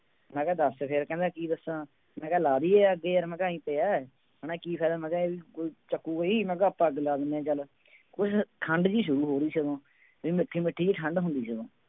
ਮੈਂ ਕਿਹਾ ਦੱਸ ਫਿਰ ਕਹਿੰਦਾ ਕੀ ਦੱਸਾਂ, ਮੈਂ ਕਿਹਾ ਲਾ ਦੇਈਏ ਅੱਗ ਯਾਰ ਮੈਂ ਕਿਹਾ ਆਈਂ ਪਿਆ ਹੈ ਹਨਾ ਕੀ ਫ਼ਾਇਦਾ ਮੈਂ ਕਿਹਾ ਵੀ ਕੋਈ ਚੁੱਕੇਗਾ ਹੀ, ਮੈਂ ਕਿਹਾ ਆਪਾਂ ਅੱਗ ਲਾ ਦਿੰਦੇ ਹਾਂ ਚੱਲ, ਕੁਛ ਠੰਢ ਜਿਹੀ ਸ਼ੁਰੂ ਹੋ ਰਹੀ ਸੀ ਉਦੋਂ ਵੀ ਮਿੱਠੀ ਮਿੱਠੀ ਜਿਹੀ ਠੰਢ ਹੁੰਦੀ ਸੀ ਉਦੋਂ